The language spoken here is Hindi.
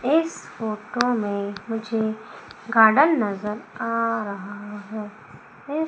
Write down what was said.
इस फोटो में मुझे गार्डन नजर आ रहा है --